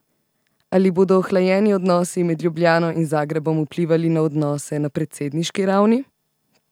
Ali bodo ohlajeni odnosi med Ljubljano in Zagrebom vplivali na odnose na predsedniški ravni?